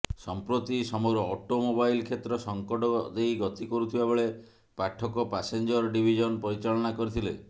ସଂପ୍ରତି ସମଗ୍ର automobile କ୍ଷେତ୍ର ସଙ୍କଟ ଦେଇ ଗତି କରୁଥିବାବେଳେ ପାଠକ ପାସେଞ୍ଜର ଡିଭିଜନ୍ ପରିଚାଳନା କରିଥିଲେ